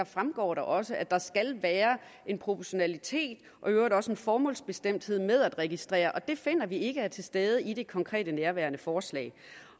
fremgår det også at der skal være en proportionalitet og i øvrigt også en formålsbestemthed med at registrere og det finder vi ikke er til stede i det konkrete nærværende forslag